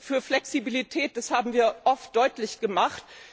Wir sind für Flexibilität, das haben wir oft deutlich gemacht.